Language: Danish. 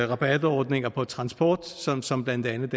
rabatordninger på transport sådan som blandt andet